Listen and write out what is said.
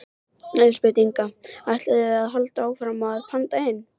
Elísabet Inga: Þið ætlið að halda áfram að panta inn?